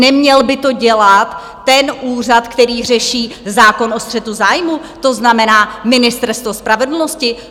Neměl by to dělat ten úřad, který řeší zákon o střetu zájmů, to znamená Ministerstvo spravedlnosti?